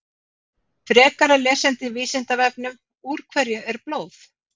Frekara lesefni á Vísindavefnum: Úr hverju er blóð?